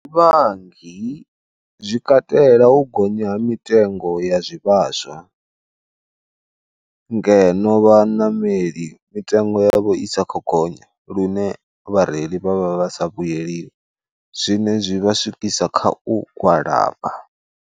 Vhangi zwi katela u gonya ha mitengo ya zwivhaswa, ngeno vhaṋameli mitengo yavho i sa kho gonya lune vhareili vha vha vhasa vhuyeliwi zwine zwi vha swikiswa kha u gwalaba.